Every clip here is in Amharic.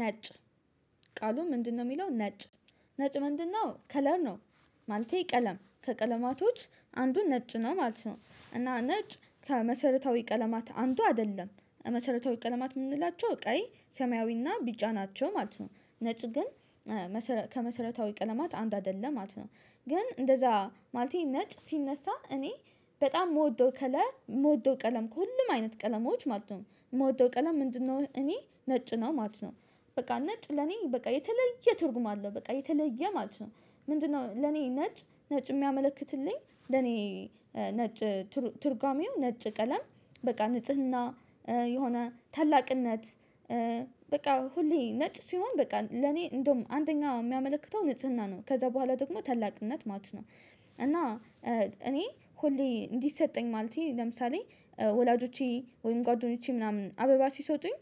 ነጭ ቃሉ ምንድነው እሚለው ነጭ ነጭ ምንድነው ከለር ነው? ማለቴ ቀለም ከቀለማቶች አንዱ ነጭ ነው ማለት ነው። እና ነጭ ከመሰረታዊ ቀለማት አንዱ አይደለም መሰረታዊ ቀለማት እምንላቸው ቀይ ሰማያዊና ቢጫ ናቸው ማለት ነው። ነጭ ግን ከመሰረታዊ ቀለማት አንዱ አይደለም ማለት ነው። ግን እንደዛ ማለቴ ነጭ ሲነሳ እኔ በጣም እምወደው ከለር እምወደው ቀለም ከሁሉም አይነት ቀለሞች ማለት ነው እምወደው ቀለም ምንድነው እኔ ነጭ ነው ማለት ነው። በቃ ነጭ ለእኔ በቃ የተለየ ትርጉም አለው በቃ የተለየ ማለት ነው። ምንድ ነው ለኔ ነጭ ነጭ እሚያመለክትልኝ ለእኔ ነጭ ትርጓሜው ነጭ ቀለም በቃ ንጽህና የሆነ ታላቅነት በቃ ሁሌ ነጭ ሲሆን በቃ ለኔ እንደውም አንደኛ እሚያመለክተው ንጽህና ነው ከዛ በኋላ ደግሞ ታላቅነት ማለት ነው። እና እኔ ሁሌ እንዲሰጠኝ ማለቴ ለምሳሌ ወላጆቼ ወይም ጓደኞቼ ምናምን አበባ ሲሰጡኝ።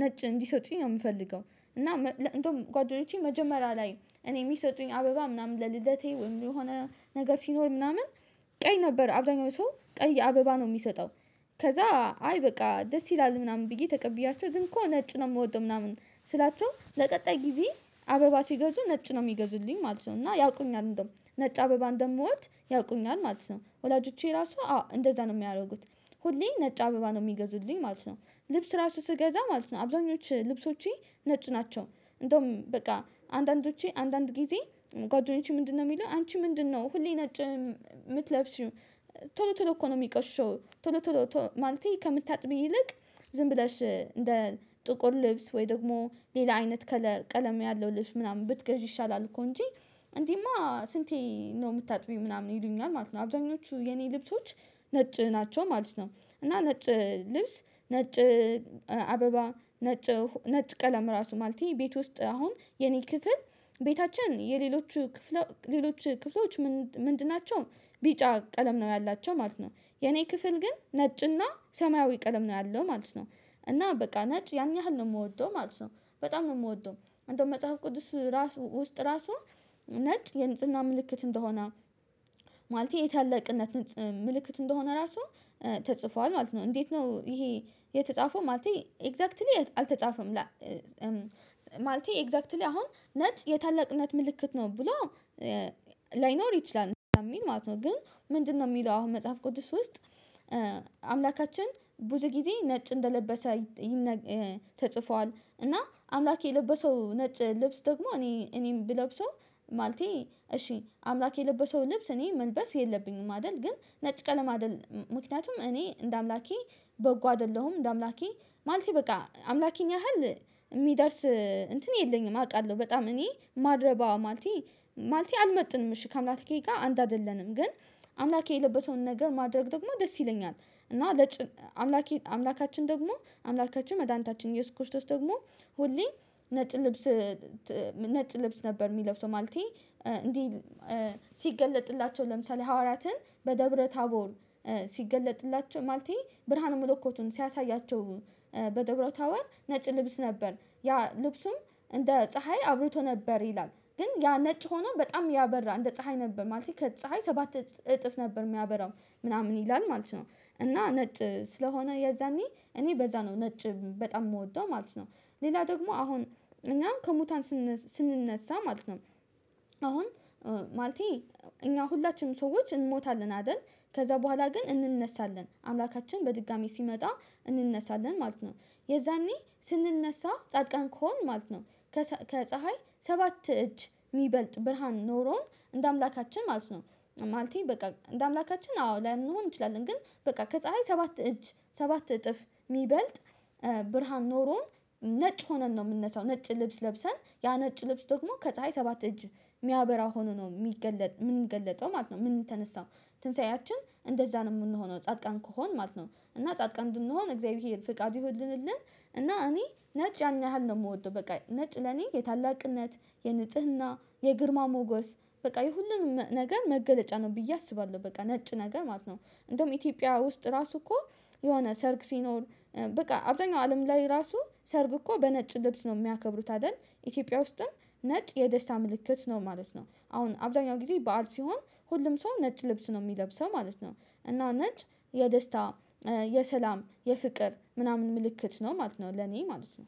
ነጭ እንዲሰጡኝ ነው እምፈልገው እና እንደውም ጓደኞቼ መጀመሪያ ላይ እኔ እሚሰጡኝ አበባ ምናምን ለልደቴ ወይም የሆነ ነገር ሲኖር ምናምን ቀይ ነበር አብዛኛው ሰው ቀይ አበባ ነው እሚሰጠው። ከዛ አይ በቃ ደስ ይላል ምናምን ብዬ ተቀብያቸው ግን እኮ ነጭ ነው እምወደው ምናምን ስላቸው ለቀጣይ ጊዜ አበባ ሲገዙ ነጭ ነው እሚገዙልኝ ማለት ነው። እና ያውቁኛል እንደውም ነጭ አበባ እንደምወድ ያውቁኛል ማለት ነው ወላጆቼ ራሱ አዎ እንደዛ ነው እሚያደርጉት። ሁሌ ነጭ አበባ ነው እሚገዙልኝ ማለት ነው። ልብስ ራሱ ስገዛ ማለት ነው አብዛኞቹ ልብሶቼ ነጭ ናቸው። እንደውም በቃ አንዳንዶች አንዳንድ ጊዜ ጓደኞቼ ምንድነው እሚለው አንቺ ምንድነው ሁሌ ነጭ እምትለብሺው? ቶሎ ቶሎ እኮ ነው እሚቆሸው ቶሎ ቶሎ ማለቴ ከምታጥቢ ይልቅ ዝም ብለሽ እንደ ጥቁር ልብስ ወይ ደግሞ ሌላ አይነት ከለር ቀለም ያለው ልብስ ምናምን ብትገዢ ይሻላል እኮ እንጂ እንዲህማ ስንቴ ነው እምታጥቢው ምናምን ይሉኛል ማለት ነው። አብዛኞቹ የእኔ ልብሶች ነጭ ናቸው ማለት ነው። እና ነጭ ልብስ ነጭ አበባ ነጭ ነጭ ቀለም ራሱ ማለት ቤት ውስጥ አሁን የእኔ ክፍል ቤታችን የሌሎቹ ክፍል ሌሎች ክፍሎች ምንድን ናቸው ቢጫ ቀለም ነው ያላቸው ማለት ነው። የእኔ ክፍል ግን ነጭና ሰማያዊ ቀለም ነው ያለው ማለት ነው። እና በቃ ነጭ ያን ያህል ነው እምወደው ማለት ነው። በጣም ነው እምወደው አንደውም መጽሐፍ ቅዱስ ራሱ ውስጥ ራሱ ነጭ የንጽህና ምልክት እንደሆነ ማለቴ የታለቅነት ምልክት እንደሆነ ራሱ ተጽፏል ማለት ነው። እንዴት ነው ይሄ የተጻፈው? ማለቴ ኤግዛክትሊ አልተጻፈም። ማለቴ ኤግዛክትሊ አሁን ነጭ የታላቅነት ምልክት ነው ብሎ ላይኖር ይችላል የሚል ማለት ነው። ግን ምንድነው እሚለው አሁን መጽሐፍ ቅድስት ውስጥ አምላካችን ብዙ ጊዜ ነጭ እንደለበሰ ተጽፏል። እና አምላኬ የለበሰው ነጭ ልብስ ደግሞ እኔ እኔም ብለብሰው ማለቴ እሺ አምላክ የለበሰው ልብስ እኔ መልበስ የለብኝም አይደል? ግን ነጭ ቀለም አይደል ምክንያቱም እኔ እንደ አምላኬ በጎ አይደለሁም። እንደ አምላኬ ማለቴ በቃ አምላኬኛ ያህል እሚደርስ እንትን የለኝም። አውቃለሁ በጣም እኔ ማረባው ማልቴ ማልቴ አልመጥንም እሺ ከአምላኬ ጋ አንድ አይደለንም። ግን አምላኬ የለበሰውን ነገር ማድረግ ደግሞ ደስ ይለኛል። እና አምላኬ አምላካችን ደግሞ አምላካችን መድኃኒታችን የስ ኩሽቶስ ደግሞ ሁሌ ነጭ ልብስ ነጭ ልብስ ነበር። እሚለብሰው ማለቴ እንዲህ ሲገለጥላቸው ለምሳሌ ሐዋራትን በደብረ ታቦል ማለቴ ብርሃኑ መለኮቱን ሲያሳያቸው በደብረታወር ነጭ ልብስ ነበር ያ ልብሱም እንደ ፀሀይ አብሮቶ ነበር ይላል። ግን ያ ነጭ ሆኖ በጣም ያበራ እንደ ፀሀይ ነበር ማለት ከፀሀይ ሰባት እጥፍ ነበር እሚያበራው ምናምን ይላል ማለት ነው። እና ነጭ ስለሆነ የዛኔ እኔ በዛ ነው ነጭ በጣም የምወደው ማለት ነው። ሌላ ደግሞ አሁን እኛም ከሙታን ስንነሳ ማለት ነው። እኛ ሁላችንም ሰዎች እንሞታለን አይደል? ከዛ ቡሃላ ግን እንነሳለን አምላካችን በድጋሚ ሲመጣ እንነሳለን ማለት ነው። የዛኔ ስንነሳ ጻድቃን ከሆን ማለት ነው። ከፀሀይ ሰባት እጅ የሚበልጥ ብርሃን ኖሮን እንደ አምላካችን ማለት ነው። ማለቴ በቃ እንደ አምላካችን አዎ ላይሆን እንችላለን ግን በቃ ከፀሀይ ሰባት እጅ ሰባት እጥፍ እሚበልጥ ብርሃን ኖሮን ነጭ ሆነን ነው የእምንነሳው። ነጭ ልብስ ለብሰን ያ ነጭ ልብስ ደግሞ ከፀሀይ ሰባት እጅ እሚያበራ ሆኖ ነው እሚገለጥ ምን ገለጠው ማለት ነው እምንነሳው? ትንሳኤያችን እንደዛ ነው እምንሆነው ጻድቃን ከሆን ማለት ነው እና ጻድቃን እንድንሆን እግዚአብሔር ፍቃዱ ይሁንልን። እና እኔ ነጭ ያን ያህል ነው የምወደው በቃ ነጭ ለኔ የታላቅነት የንጽህና የግርማ ሞገስ በቃ የሁሉንም ነገር መገለጫ ነው ብዬ አስባለሁ በቃ ነጭ ነገር ማለት ነው። እንደውም ኢትዮጵያ ውስጥ ራሱ እኮ የሆነ ሰርግ ሲኖር በቃ አብዛኛው አለም ላይ ራሱ ሰርግ እኮ በነጭ ልብስ ነው እሚያከብሩት አይደል? ኢትዮጵያ ውስጥም ነጭ የደስታ ምልክት ነው ማለት ነው። አሁን አብዛኛው ጊዜ በዓል ሲሆን ሁሉም ሰው ነጭ ልብስ ነው እሚለብሰው ማለት ነው። እና ነጭ የደስታ የሰላም የፍቅር ምናምን ምልክት ነው ማለት ነው ለኔ ማለት ነው።